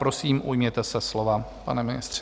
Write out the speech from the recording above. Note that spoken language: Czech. Prosím, ujměte se slova, pane ministře.